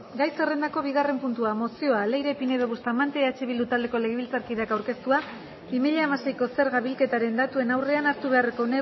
gai zerrendako bigarren puntua mozioa leire pinedo bustamante eh bildu taldeko legebiltzarkideak aurkeztua bi mila hamaseiko zerga bilketaren datuen aurrean hartu beharreko